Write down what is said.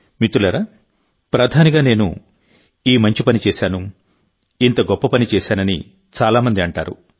మిత్రులారాప్రధానిగా నేను ఈ మంచి పని చేశాను ఇంత గొప్ప పని చేశానని చాలా మంది అంటారు